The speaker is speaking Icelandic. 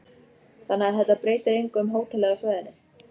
Þannig að þetta breytir engu um hótelið á svæðinu?